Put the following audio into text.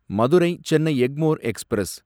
Madurai Chennai Egmore express